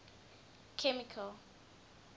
chemical